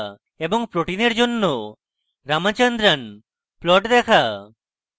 এবং proteins জন্য ramachandran plot দেখা